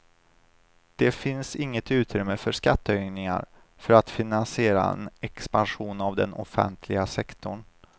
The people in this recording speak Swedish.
Det finns inget utrymme för skattehöjningar för att finansiera en expansion av den offentliga sektorn.